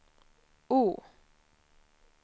O